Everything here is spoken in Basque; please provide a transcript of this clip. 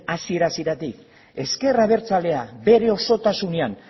hasiera hasieratik ezker abertzalea bere osotasunean